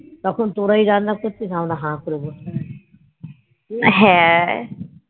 তখন তোরাই রান্না করছিস আমরা হা করে বসে আছি